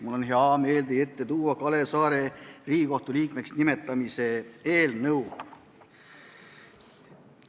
Mul on hea meel tuua teie ette Kalev Saare Riigikohtu liikmeks nimetamise eelnõu.